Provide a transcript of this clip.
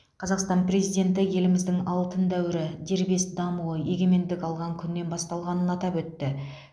қазақстан президенті еліміздің алтын дәуірі дербес дамуы егемендік алған күннен басталғанын атап өтті